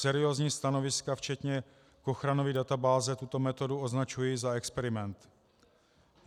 Seriózní stanoviska včetně ochrany databáze tuto metodu označují za experiment.